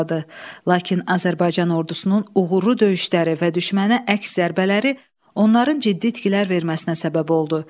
Lakin Azərbaycan ordusunun uğurlu döyüşləri və düşmənə əks zərbələri onların ciddi itkilər verməsinə səbəb oldu.